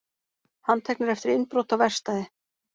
Handteknir eftir innbrot á verkstæði